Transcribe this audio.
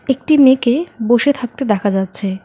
একটি মেয়েকে বসে থাকতে দেখা যাচ্ছে।